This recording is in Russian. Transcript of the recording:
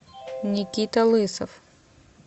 никита лысов